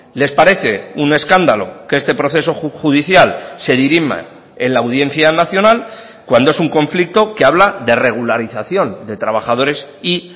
les parece un escándalo que este proceso judicial se dirima en la audiencia nacional cuando es un conflicto que habla de regularización de trabajadores y